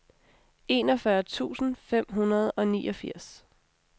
enogfyrre tusind fem hundrede og niogfirs